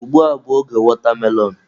Ugbua bụ oge watermelon.